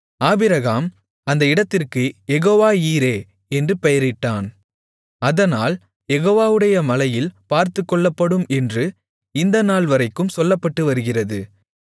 Abraham அந்த இடத்திற்கு Jehovah Jireh என்று பெயரிட்டான் அதனால் யெகோவாவுடைய மலையில் பார்த்துக்கொள்ளப்படும் என்று இந்த நாள்வரைக்கும் சொல்லப்பட்டு வருகிறது